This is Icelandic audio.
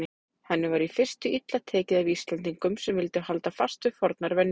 Henni var í fyrstu illa tekið af Íslendingum sem vildu halda fast við fornar venjur.